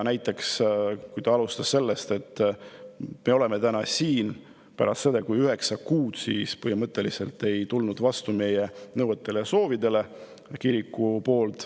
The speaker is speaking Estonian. Näiteks ta alustas sellest, et me oleme täna siin pärast seda, kui kirik üheksa kuu jooksul põhimõtteliselt ei tulnud vastu meie nõuetele ja soovidele.